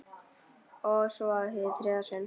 Og svo- hið þriðja sinn.